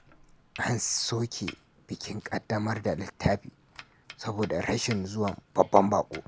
An soke bikin kaddamar da littafi saboda rashin zuwan babban bako.